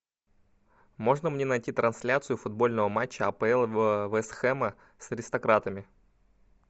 можно мне найти трансляцию футбольного матча апл вест хэма с аристократами